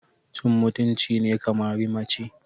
Cin mutunci ne ka mari mace.